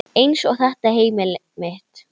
Eins og þetta heimili mitt!